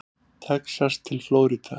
Texas til Flórída.